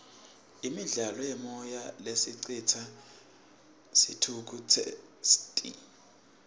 imidlalo yemoya lesicitsa sithukutseti